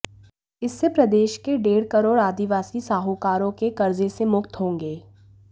इससे प्रदेश के डेढ़ करोड़ आदिवासी साहूकारों के कर्जे से मुक्त होंगे